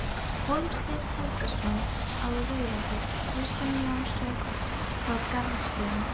Hólmsteinn Helgason á Raufarhöfn, Kristján Jónsson frá Garðsstöðum